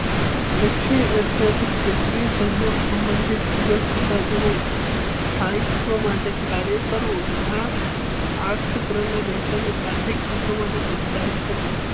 દક્ષિણ એશિયાથી ક્ષત્રીય સહયોગ સંબંધિત સહિતવ માટે કાર્ય કરવું તથા આ ક્ષેત્રના દેશોના આર્થિક હિતો માટે પ્રોત્સાહિત કરવું.